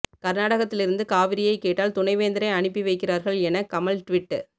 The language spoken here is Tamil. கர்நாடகத்திலிருந்து காவிரியை கேட்டால் துணைவேந்தரை அனுப்பி வைக்கிறார்கள் என கமல் ட்வீட்